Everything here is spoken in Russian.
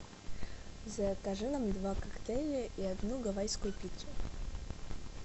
закажи нам два коктейля и одну гавайскую пиццу